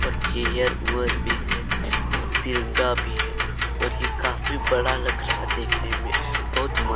और चेयर वुयर भी है और तिरंगा भी है और ये काफी बड़ा लग रहा है देखने में बहुत--